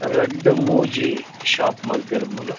ರಡ್ಡ್ ಮೂಜಿ ಶೋಪ್ ಮಲ್ತೆರ್ ಮೂಲು.